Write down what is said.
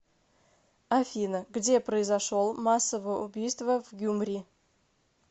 афина где произошел массовое убийство в гюмри